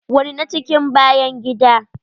Wani na cikin bayan gida.